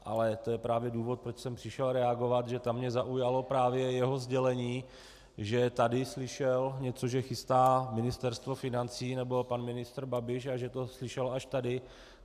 Ale to je právě důvod, proč jsem přišel reagovat, že tam mě zaujalo právě jeho sdělení, že tady slyšel něco, že chystá Ministerstvo financí, nebo pan ministr Babiš, a že to slyšel až tady.